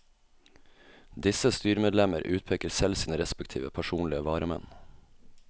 Disse styremedlemmer utpeker selv sine respektive personlige varamenn.